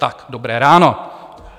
Tak dobré ráno.